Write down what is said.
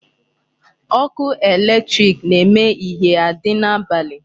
Ọkụ electric na-eme ihie adị n'abalị.